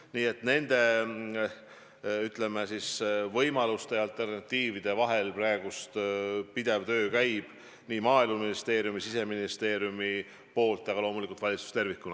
Nii et nende, ütleme siis, võimaluste ja alternatiividega praegu pidev töö käib nii Maaeluministeeriumis kui ka Siseministeeriumis, aga loomulikult ka valitsuses tervikuna.